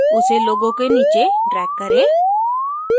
उसे logo के नीचे drag करें